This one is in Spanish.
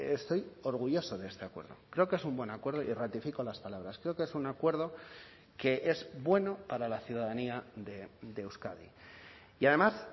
estoy orgulloso de este acuerdo creo que es un buen acuerdo y ratifico las palabras creo que es un acuerdo que es bueno para la ciudadanía de euskadi y además